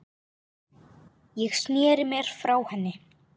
Ég sneri mér frá henni.